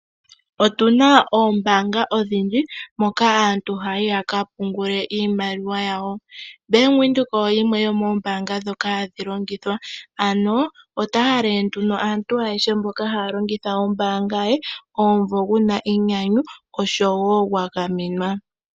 Otuna oombanga odhindji moka aantu haya yi yaka pungule iimaliwa yawo. Bank Windhoek oyo yimwe yomoombanga dhoka hadhi longithwa. Ano ota halele aantu ayehe mboka haa longitha ombanga ye omumvo guna enyanyu oshowo gwa gamenwa.